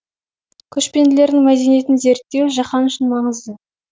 көшпенділердің мәдениетін зерттеу жаһан үшін маңызды